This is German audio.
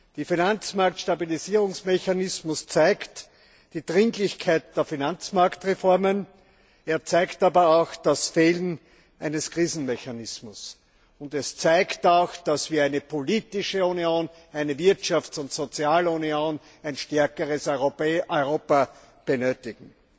Der Finanzmarktstabilisierungsmechanismus zeigt die Dringlichkeit der Finanzmarktreformen, er zeigt aber auch das Fehlen eines Krisenmechanismus, und er zeigt auch, dass wir eine politische Union, eine Wirtschafts und Sozialunion und ein stärkeres Europa benötigen.